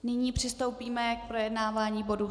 Nyní přistoupíme k projednávání bodu